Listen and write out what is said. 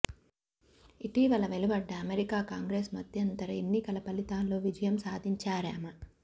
ఇటీవల వెలువడ్డ America Congress మధ్యంతర ఎన్నికల ఫలితాల్లో విజయం సాధించారామె